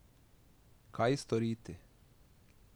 Kaj storiti?